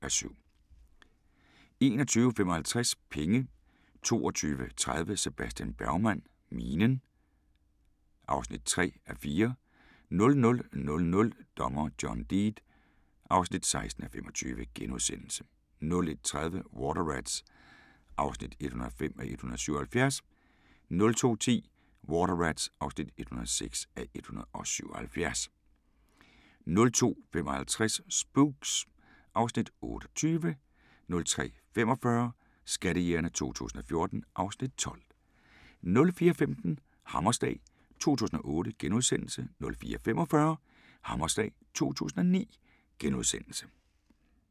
21:55: Penge 22:30: Sebastian Bergman: Minen (3:4) 00:00: Dommer John Deed (16:25)* 01:30: Water Rats (105:177) 02:10: Water Rats (106:177) 02:55: Spooks (Afs. 28) 03:45: Skattejægerne 2014 (Afs. 12) 04:15: Hammerslag 2008 * 04:45: Hammerslag 2009 *